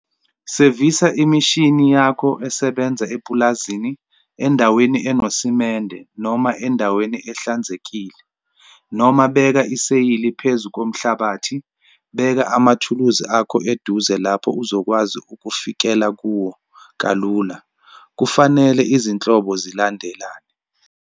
Sevisa imishini yakho esebenza epulazini endaweni enosemende noma endaweni ehlanzekile, noma beka iseyili phezu komhlabathi. Beka amathulusi akho eduze lapho uzokwazi ukufikela kuwo kalula, kufanele izinhlobo zilandelane.